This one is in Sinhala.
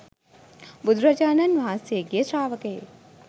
බුදුරජාණන් වහන්සේගේ ශ්‍රාවකයෙක්.